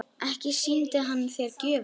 Ekki sýndi hann þér gjöfina?